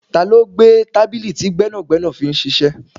Ta ló gbé tábìlì tí gbẹ́nàgbẹ́nà fi ń ṣíṣe?